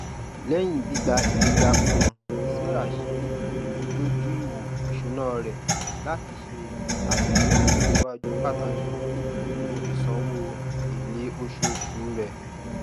lẹyìn gbígbà ìgbẹgà kan sarah ṣe ìmúdójúìwò isúnà rẹ láti ṣe àfihàn ìlòsíwájú pàtàkì nínú ìsanwó iléoṣooṣu rẹ